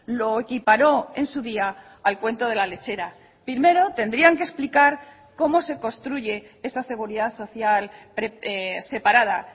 lo equiparó en su día al cuento de la lechera primero tendrían que explicar cómo se construye esa seguridad social separada